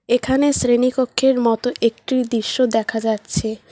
এখানে শ্রেণীকক্ষের মতো একট্রি দৃশ্য দেখা যাচ্ছে।